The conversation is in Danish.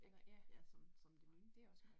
Eller ja, det også godt